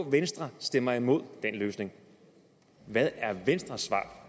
at venstre stemmer imod den løsning hvad er venstres svar